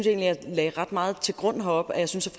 jeg lagde ret meget til grund heroppe at jeg synes